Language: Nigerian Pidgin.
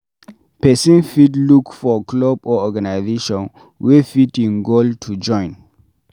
Person fit look for club or organization wey fit im goal to join